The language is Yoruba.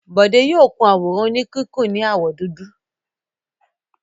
Bọ̀dé yóò kun àwòrán oníkíkùn ní àwọ̀ dúdú.